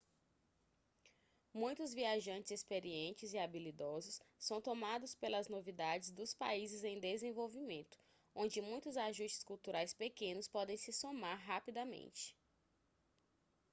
muitos viajantes experientes e habilidosos são tomados pelas novidades dos países em desenvolvimento onde muitos ajustes culturais pequenos podem se somar rapidamente